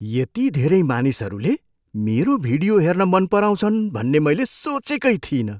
यति धेरै मानिसहरूले मेरो भिडियो हेर्न मन पराउँछन् भन्ने मैले सोचेकै थिइनँ!